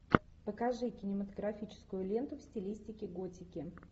покажи кинематографическую ленту в стилистике готики